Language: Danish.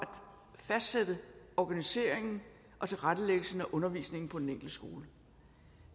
fastlægge organiseringen og tilrettelæggelsen af undervisningen på den enkelte skole